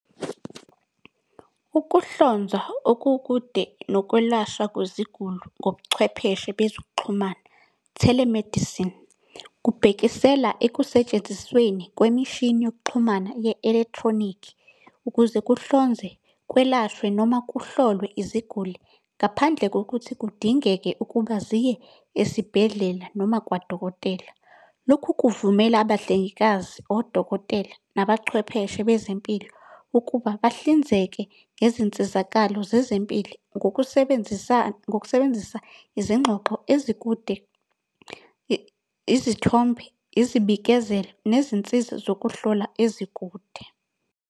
Ukuhlonza okukude nokwelashwa kweziguli ngobuchwepheshe bezokuxhumana. Telemedicine, kubhekisela ekusetshenzisweni kwemishini yokuxhumana ye-electronic, ukuze kuhlonze, kwelashwe noma kuhlolwe iziguli ngaphandle kokuthi kudingeke ukuba ziye esibhedlela noma kwadokotela. Lokhu kuvumela abahlengikazi, odokotela, nabachwepheshe bezempilo, ukuba bahlinzeke ngezinsizakalo zezempilo. Ngokusebenzisa izingxoxo ezikude, izithombe, izibikezelo, nezinsiza zokuhlola ezikude.